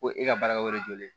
Ko e ka baarakɛyɔrɔ jɔlen